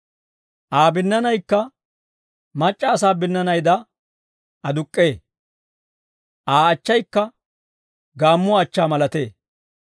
Aa binnaanaykka mac'c'a asaa binnaanaydaa aduk'k'ee; Aa achchaykka gaammuwaa achchaa malatee.